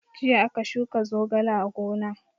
Jiya aka shuka zogale a gona.